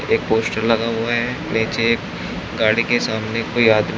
एक पोस्टर लगा हुआ है नीचे एक गाड़ी के सामने कोई आदमी--